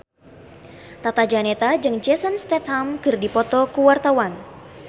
Tata Janeta jeung Jason Statham keur dipoto ku wartawan